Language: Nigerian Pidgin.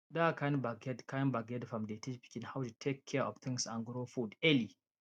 that kind backyard kind backyard farm dey teach pikin how to take care of things and grow food early